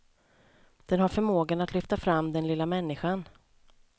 Den har förmågan att lyfta fram den lilla människan.